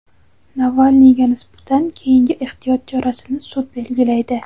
Navalniyga nisbatan keyingi ehtiyot chorasini sud belgilaydi.